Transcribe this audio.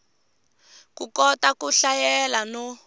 u kota ku hlayela no